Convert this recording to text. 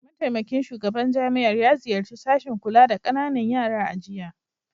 Mataimakin shugaban jami'ar ya ziyarci sashin kula da kananan yara a jiya